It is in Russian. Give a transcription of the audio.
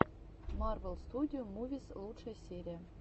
марвел студио мувис лучшая серия